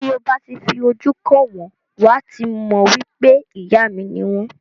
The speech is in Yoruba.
Ti o ba ti fi ojú kan wọn wà ti mọ wipe ìyá mi ni wọn.